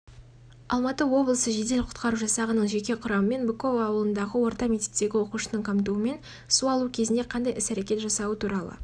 алматы облысы жедел құтқару жасағының жеке құрамымен быково ауылындағы орта мектептегі оқушының қамтуымен су алу кезінде қандай іс әрекет жасауы туралы